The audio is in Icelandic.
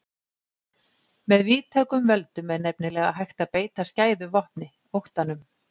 Með víðtækum völdum er nefnilega hægt að beita skæðu vopni, óttanum.